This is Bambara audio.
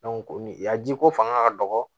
a jiko fanga ka dɔgɔ